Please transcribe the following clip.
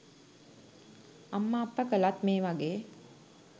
අම්ම අප්ප කළත් මේ වගේ